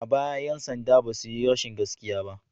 A baya 'yan sanda ba su yi rashin gaskiya ba.